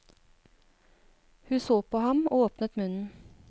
Hun så på ham og åpnet munnen.